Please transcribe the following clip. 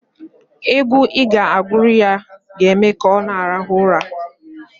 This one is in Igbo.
Egwu ị ga-agụrụ ya ga-eme ka ọ rahụọ ụra.